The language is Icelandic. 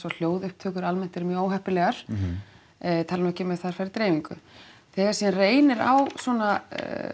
og hljóðupptökur eru almennt mjög óheppilegar ég tala nú ekki um ef þær fara í dreifingu þegar síðan reynir á svona